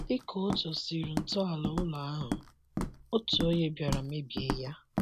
Dika ọ tọsịrị ntọala ụlọ ahụ, otu onye bịara mebie ya..